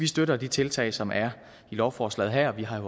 støtter de tiltag som er i lovforslaget her vi har jo